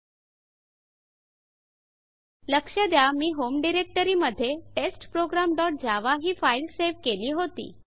लक्ष द्या मी होम डायरेक्टरी होम डाइरेक्टरी मध्ये टेस्टप्रोग्राम डॉट जावा ही फाइल सेव केली होती